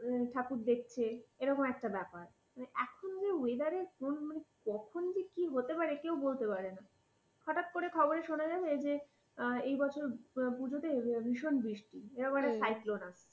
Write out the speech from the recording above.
ঠাকুর দেখছে এরকম একটা ব্যাপার। এখন যা weather এর ধরন কখন যে কি হতে পারে তা কেউ বলতে পারে না। হঠাৎ করে খবরে শোনা গেছে যে, এবছর পূজোতে ভিষন বৃষ্টি এরকম একটা cyclone আসছে।